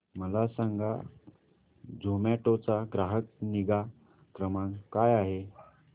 मला सांगा झोमॅटो चा ग्राहक निगा क्रमांक काय आहे